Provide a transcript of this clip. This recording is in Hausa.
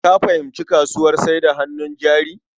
Ka fahimci kasuwar sayar da hannun jari?